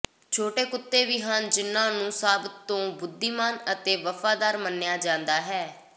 ਛੋਟੇ ਕੁੱਤੇ ਵੀ ਹਨ ਜਿਨ੍ਹਾਂ ਨੂੰ ਸਭ ਤੋਂ ਬੁੱਧੀਮਾਨ ਅਤੇ ਵਫ਼ਾਦਾਰ ਮੰਨਿਆ ਜਾਂਦਾ ਹੈ